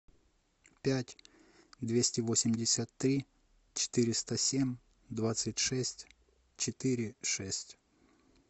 пять двести восемьдесят три четыреста семь двадцать шесть четыре шесть